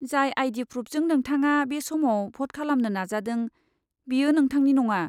जाय आई.डी. प्रुफजों नोंथाङा बे समाव भ'ट खालामनो नाजादों, बेयो नोंथांनि नङा।